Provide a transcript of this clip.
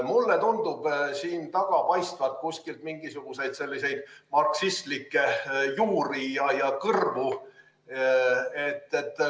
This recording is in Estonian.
Mulle tundub, et selle tagant paistavad mingisugused marksistlikud juured ja kõrvad.